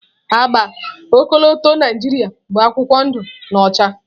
Agba ọkọlọtọ Naijiria bụ akwụkwọ ndụ na ọcha.